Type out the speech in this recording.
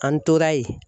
An tora yen